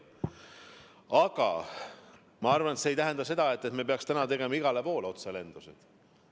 Aga ma arvan, et see ei tähenda seda, et me peaksime täna tegema igale poole otselendusid.